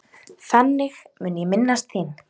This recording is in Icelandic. Þannig mun ég minnast þín.